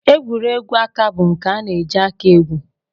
Egwuregwu aka bụ nke a na-eji aka egwu